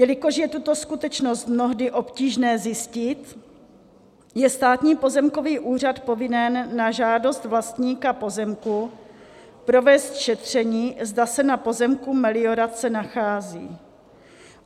Jelikož je tuto skutečnost mnohdy obtížné zjistit, je Státní pozemkový úřad povinen na žádost vlastníka pozemku provést šetření, zda se na pozemku meliorace nachází.